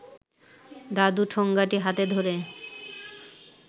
দাদু ঠোঙাটি হাতে ধরে